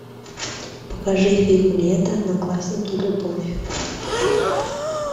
покажи фильм лето одноклассники любовь